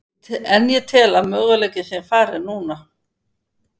En ég tel að möguleikinn sé farinn núna.